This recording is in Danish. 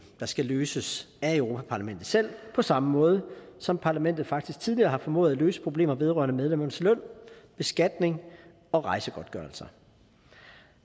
der skal løses af europa parlamentet selv på samme måde som parlamentet faktisk tidligere har formået at løse problemer vedrørende medlemmernes løn beskatning og rejsegodtgørelser